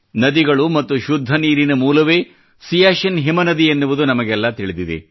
ನದಿಗಳು ಮತ್ತು ಶುದ್ಧ ನೀರಿನ ಮೂಲವೇ ಸಿಯಾಚಿನ್ ಹಿಮನದಿ ಎನ್ನುವುದು ನಮಗೆಲ್ಲಾ ತಿಳಿದಿದೆ